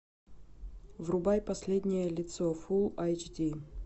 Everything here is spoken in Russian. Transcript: врубай последнее лицо фул айч ди